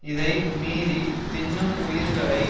இதை மீறித் தின்னும் உயிர்களை